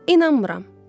İnanmıram.